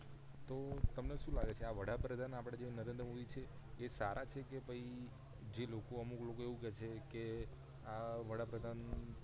તો તમને સુ લાગે છે આ વડાપધાન આપડે નરેન્દ્ર મોદી છે એ સારા છે કે પછી જે લોકો અમુક લોકો એ-વું કે છે આ વડાપધાન